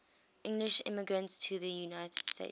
english immigrants to the united states